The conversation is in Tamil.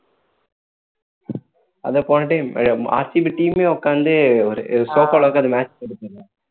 அதா போன time team யே உட்கார்ந்து ஒரு sofa ல உட்கார்ந்து match பாத்துட்டு இருந்துச்சு